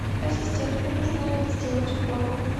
ассистент мне нужно сделать уборку